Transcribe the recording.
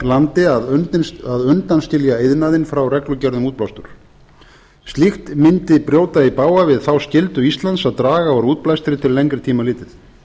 landi að undanskilja iðnaðinn frá reglugerð um útblástur slíkt myndi brjóta í bága við þá skyldu íslands að draga úr útblæstri til lengri tíma litið